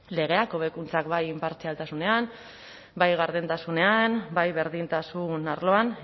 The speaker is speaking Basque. legea hobekuntzak bai inpartzialtasunean bai gardentasunean bai berdintasun arloan